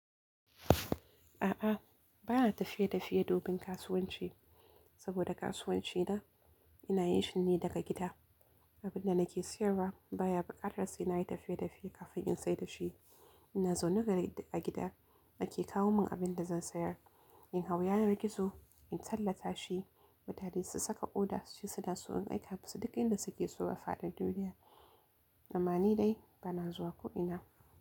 A'a, ba na tafiye tafiye domin kasuwanci saboda kasuwanci na ina yi shi ne daga gida. Abin da nake siyarwa baya buƙatar sai na yi tafiye tafiye kafin in sayar da shi. Ina zaune gare a gida ake kawo mun abin da zan sayar. In hau yanar gizo, in tallata shi, mutane su saka order, su ce suna so, in aika musu duk inda suke so a fadin duniya. Amma ni dai ba na zuwa ko ina.